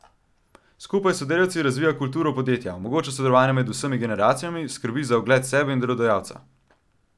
Skupaj s sodelavci razvija kulturo podjetja, omogoča sodelovanje med vsemi generacijami, skrbi za ugled sebe in delodajalca.